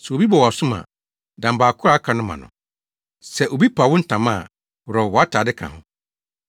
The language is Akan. Sɛ obi bɔ wʼasom a, dan baako a aka no ma no. Sɛ obi pa wo ntama a, worɔw wʼatade ka ho.